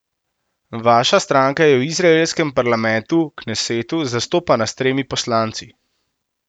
Vaša stranka je v izraelskem parlamentu, knesetu, zastopana s tremi poslanci.